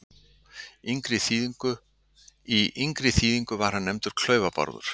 Í yngri þýðingu var hann nefndur Klaufa-Bárður.